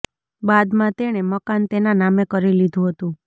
બાદમાં તેણે મકાન તેના નામે કરી લીધું હતું